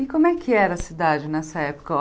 E como é que era a cidade nessa época?